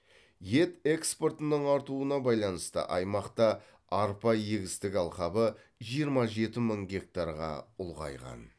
ет экспортының артуына байланысты аймақта арпа егістік алқабы жиырма жеті мың гектарға ұлғайған